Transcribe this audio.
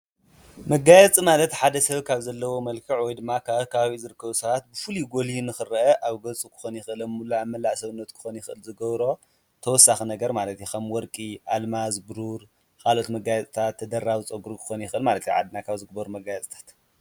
መጋያፂ ማለት ሓደ ሰብ ካብ ዘለዎ መልከዕ ወይ ድማ ካብ ኣብ ከባቢ ዝርከቡ ሰባት ብፉልይ ጐሊሁ ንኽርአ ኣብ ገፁ ኽኾን ይክእል፣ ኣብ መላእ ሰብነት ክኾን ይኽእል ዝገብሮ ተወሳኪ ነገር ማለት እዩ። ኸም ወርቂ፣ ኣልማዝ፣ ቡሩር ካሎኦት መጋያፅታ ተደራቢ ፀጕሪ ክኾን ይኽል እዩ ማለት ኣብ ዓድና ካብ ዝግበሩ መጋየፅታት።